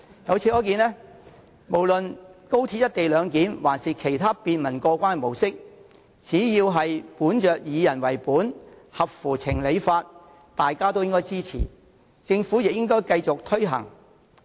由此可見，無論是高鐵的"一地兩檢"安排抑或其他便民過關的模式，只要是以人為本及合乎情、理、法，大家也應該支持，而政府亦應該繼續推行。